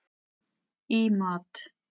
í mat.